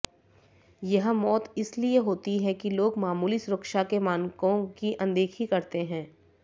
यह मौत इसलिए होती है कि लोग मामूली सुरक्षा के मानकों की अनदेखी करते हैं